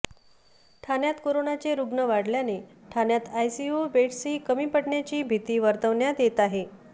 ठाण्यात करोनाचे रुग्ण वाढल्याने ठाण्यात आयसीयू बेड्सही कमी पडण्याची भीती वर्तवण्यात येत आहे